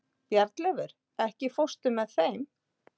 Bjarnleifur, ekki fórstu með þeim?